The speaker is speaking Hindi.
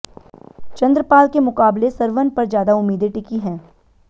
चंद्रपाल के मुकाबले सरवन पर ज्यादा उम्मीदें टिकी हैं